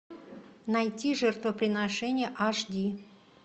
найти жертвоприношение аш ди